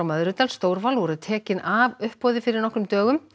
Möðrudal Stórval voru tekin af uppboði fyrir nokkrum dögum